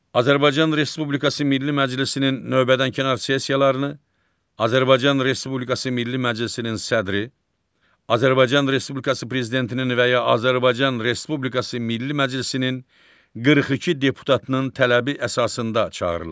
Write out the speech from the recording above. Azərbaycan Respublikası Milli Məclisinin növbədənkənar sessiyalarını Azərbaycan Respublikası Milli Məclisinin sədri, Azərbaycan Respublikası Prezidentinin və ya Azərbaycan Respublikası Milli Məclisinin 42 deputatının tələbi əsasında çağırılır.